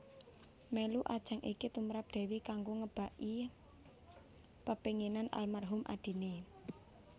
Mèlu ajang iki tumrap Dewi kanggo ngebaki pepénginan almarhum adiné